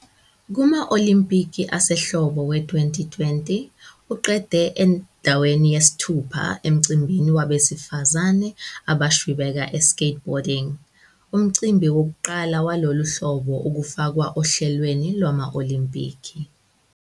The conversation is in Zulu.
Kuma- Olimpiki asehlobo e-2020, uqede endaweni yesithupha emcimbini wabesifazane abashwibeka e-skateboarding, umcimbi wokuqala walolu hlobo ukufakwa ohlelweni lwama-Olimpiki.